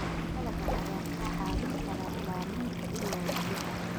dalagga ayaa kaa caawin kara ilaalinta ilaha biyaha.